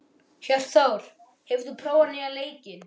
Hjörtþór, hefur þú prófað nýja leikinn?